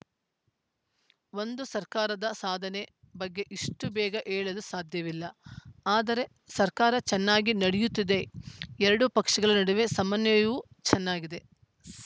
ಒಂದು ಸರ್ಕಾರದ ಸಾಧನೆ ಬಗ್ಗೆ ಇಷ್ಟುಬೇಗ ಹೇಳಲು ಸಾಧ್ಯವಿಲ್ಲ ಆದರೆ ಸರ್ಕಾರ ಚೆನ್ನಾಗಿ ನಡೆಯುತ್ತಿದೆ ಎರಡು ಪಕ್ಷಗಳ ನಡುವೆ ಸಮನ್ವಯವೂ ಚೆನ್ನಾಗಿದೆ